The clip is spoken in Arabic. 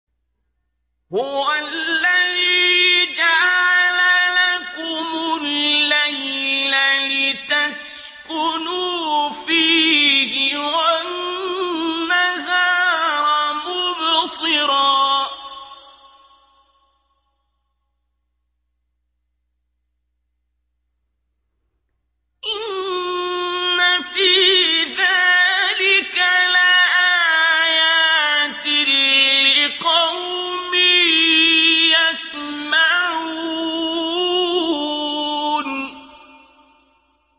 هُوَ الَّذِي جَعَلَ لَكُمُ اللَّيْلَ لِتَسْكُنُوا فِيهِ وَالنَّهَارَ مُبْصِرًا ۚ إِنَّ فِي ذَٰلِكَ لَآيَاتٍ لِّقَوْمٍ يَسْمَعُونَ